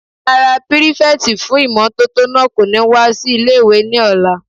Rárá, pírífẹ̀tì fún ìmótótó náà kò ní wá sí ilé-ìwé ní ọ̀la